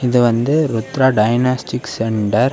இது வந்து Rudra diagnostic centre .